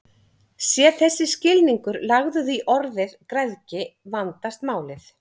Sé þessi skilningur lagður í orðið græðgi vandast málið.